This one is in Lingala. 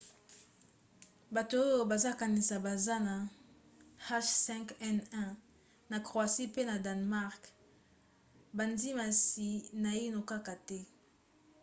bato oyo bazokanisa baza na h5n1 na croatie pe na danemark bandimisami naino kaka te